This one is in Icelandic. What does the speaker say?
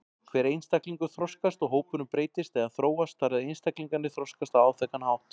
Hver einstaklingur þroskast og hópurinn breytist eða þróast þar eð einstaklingarnir þroskast á áþekkan hátt.